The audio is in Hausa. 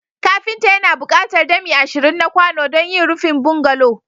Kafinta yana buƙatar dami ashirin na kwano don yin rufin bungalow